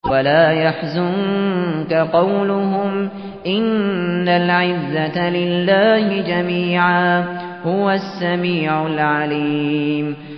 وَلَا يَحْزُنكَ قَوْلُهُمْ ۘ إِنَّ الْعِزَّةَ لِلَّهِ جَمِيعًا ۚ هُوَ السَّمِيعُ الْعَلِيمُ